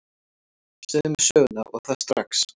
Segðu mér söguna, og það strax.